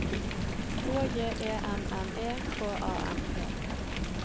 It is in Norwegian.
H J E M M E K A M P